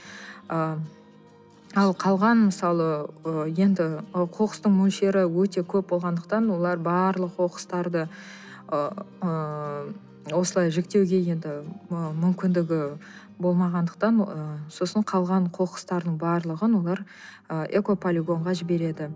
ы ал қалған мысалы ы енді ы қоқыстың мөлшері өте көп болғандықтан олар барлық қоқыстарды ыыы осылай жіктеуге енді ы мүмкіндігі болмағандықтан ы сосын қалған қоқыстардың барлығын олар ы экополигонға жібереді